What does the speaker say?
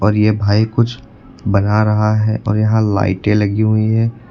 और ये भाई कुछ बना रहा है और यहां लाइटे लगी हुई है।